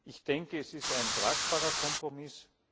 Ich denke, es ist ein tragbarer Kompromiss.